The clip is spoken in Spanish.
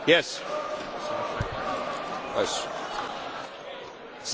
Señor Presidente, he pedido la palabra para una cuestión de orden.